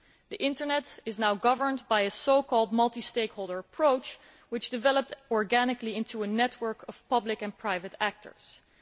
The Internet is now governed by a so called multi stakeholder approach which developed organically into a network of public and private stakeholders.